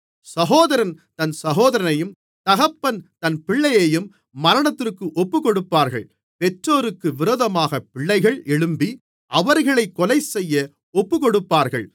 சகோதரன் தன் சகோதரனையும் தகப்பன் தன் பிள்ளையையும் மரணத்திற்கு ஒப்புக்கொடுப்பார்கள் பெற்றோருக்கு விரோதமாகப் பிள்ளைகள் எழும்பி அவர்களைக் கொலைசெய்ய ஒப்புக்கொடுப்பார்கள்